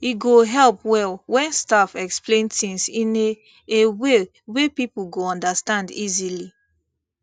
e go help well when staff explain things in a a way wey people go understand easily